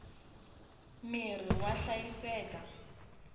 mirhi wa hlayiseka